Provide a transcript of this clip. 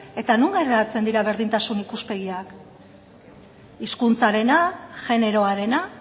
eta non geratzen dira berdintasun ikuspegiak hizkuntzarena generoarena